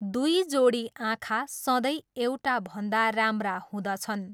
दुई जोडी आँखा सधैँ एउटाभन्दा राम्रा हुँदछन्।